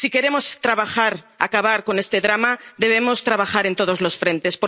Si queremos acabar con este drama, debemos trabajar en todos los frentes.